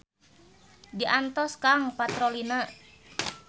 Diantos kang patrolina.